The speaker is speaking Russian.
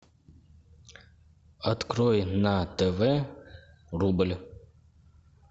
открой на тв рубль